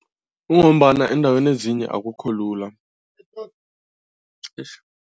Kungombana eendaweni ezinye akukho lula